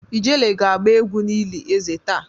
Ijele ga agba egwu n'eli eze taa.